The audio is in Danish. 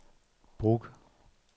Brugge